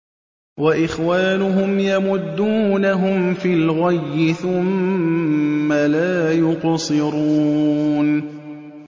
وَإِخْوَانُهُمْ يَمُدُّونَهُمْ فِي الْغَيِّ ثُمَّ لَا يُقْصِرُونَ